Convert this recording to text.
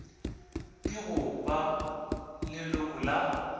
ke go ba leloko la